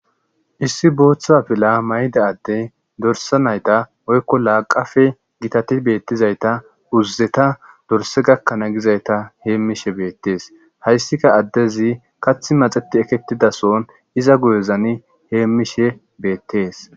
Issi booththaa pila mayda adde dorsa nayta oykko la qafe gitati beettizayta uzzeta dorse gakkanaa gizayta heemmishe beettees hayssika addezi kathi maxeti ekettidason iza guyozani heemmishe beettees